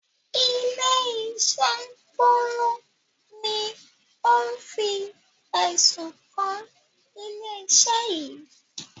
Ilé-iṣẹ́ Bólú ni ó ń fi ẹ̀sùn kan ilé-iṣẹ́ yìí.